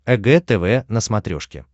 эг тв на смотрешке